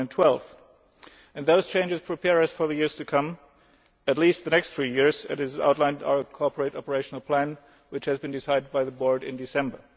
2012. Those changes prepare us for the years to come at least the next three years as outlined in our corporate operational plan which was decided by the Board in December